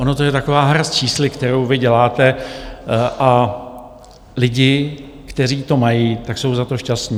Ona je to taková hra s čísly, kterou vy děláte, a lidi, kteří to mají, tak jsou za to šťastní.